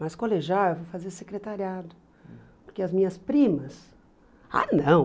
Mas colegial eu fui fazer secretariado, porque as minhas primas... Ah, não!